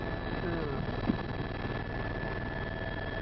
ആ ണൊ